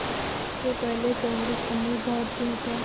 उससे पहले कांग्रेस अमीर भारतीयों का